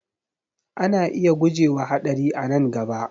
Ana iya guje wa haɗari a nan gaba